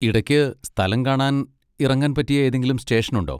ഇടയ്ക്ക് സ്ഥലം കാണാൻ ഇറങ്ങാൻ പറ്റിയ ഏതെങ്കിലും സ്റ്റേഷൻ ഉണ്ടോ?